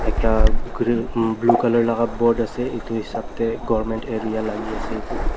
ekta gree blue colour laka board ase edu hisap tae government area lagiase edu tu.